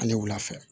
Ale wula fɛ